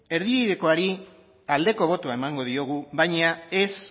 erdibidekoari aldeko botoa emango diogu baina ez